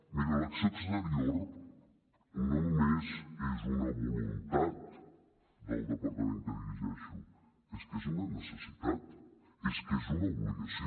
miri l’acció exterior no només és una voluntat del departament que dirigeixo és que és una necessitat és que és una obligació